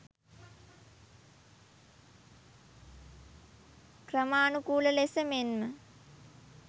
ක්‍රමානුකූල ලෙස මෙන්ම